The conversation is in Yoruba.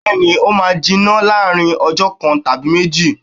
Bẹ́ẹ̀ni, ó máa jiná láàrin ọjọ kan tàbí méjì.